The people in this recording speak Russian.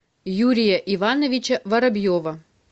юрия ивановича воробьева